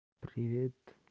привет